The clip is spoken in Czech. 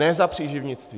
Ne za příživnictví.